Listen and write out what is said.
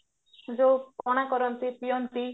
ଯୋଉ ପଣା କରନ୍ତି ପିଅନ୍ତି